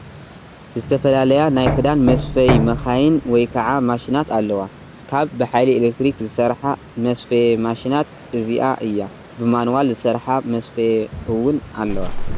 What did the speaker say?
ዝተፈላለያ ናይ ክዳን መስፈይ መካይን ወይ ከዓ ማሽናት ኣለዋ፡፡ ካብ ብሓይሊ ኤሌክትሪክ ዝሰርሓ መስፈዬ ማሽናት እዚኣ እያ፡፡ ብማኑዋል ዝሰርሓ መስፈዬ እውን ኣለዋ፡፡